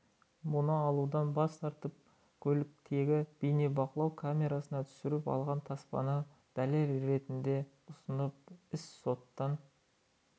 мұны алудан бас тартып көліктегі бейнебақылау камерасына түсіріп алған таспаны дәлел ретінде ұсынып іс соттан